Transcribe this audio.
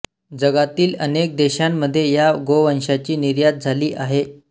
जगातील अनेक देशांमध्ये या गोवंशाची निर्यात झाली आहे